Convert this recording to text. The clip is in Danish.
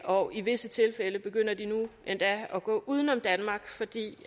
og i visse tilfælde begynder de nu endda at gå uden om danmark fordi